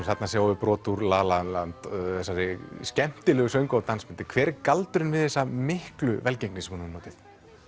þarna sjáum við brot úr la la land þessari skemmtilegu söngva og dansmynd hver er galdurinn við þessa miklu velgengni sem hún hefur notið